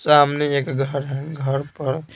सामने एक घर है घर पर--